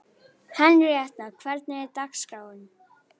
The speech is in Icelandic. Henríetta, hvernig er dagskráin?